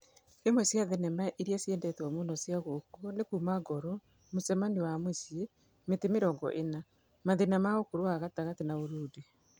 Imwe cia thenema iria ciendetwo mũno cia gũkũ nĩ Kuuma Ngoro, Mũcemanio wa Mũciĩ, Miti Mirongo ĩna, Mathina ma Ùkũrũ wa gatagati na Ùrudi.